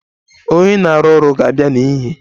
Onye na-arụ ọrụ ga-abịa n'ehihie.